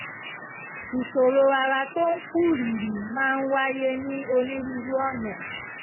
ìṣòro ara tó ń kú rìrì máa ń wáyé ní onírúurú ọ̀nà